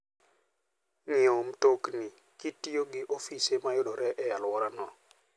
Ng'iewo mtokni kitiyo gi ofise ma yudore e alworau.